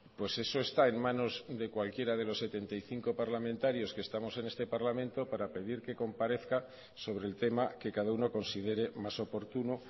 pues eso está en manos de cualquiera de los setenta y cinco parlamentarios que estamos en este parlamento para pedir que comparezca sobre el tema que cada uno considere más oportuno